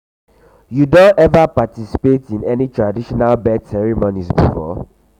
you don ever participate in any traditional birth ceremonies before?